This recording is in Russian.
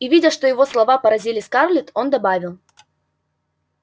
и видя что его слова поразили скарлетт он добавил